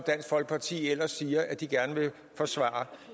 dansk folkeparti ellers siger at de gerne vil forsvare